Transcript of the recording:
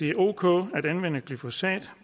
er ok at anvende glyfosat